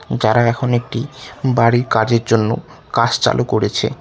যারা এখন একটি বাড়ির কাজের জন্য কাঝ চালু করেছে।